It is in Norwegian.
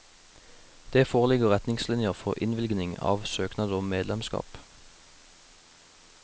Det foreligger retningslinjer for innvilgning av søknad om medlemskap.